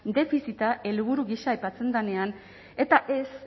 defizita helburu gisa aipatzen denean eta ez